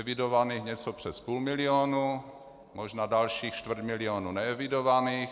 Evidovaných něco přes půl milionu, možná dalších čtvrt milionu neevidovaných.